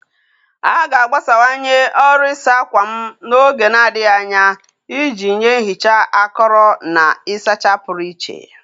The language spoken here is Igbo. A ga-agbasawanye ọrụ ịsa ákwà m n'oge na-adịghị anya iji nye nhicha akọrọ na ịsacha pụrụ iche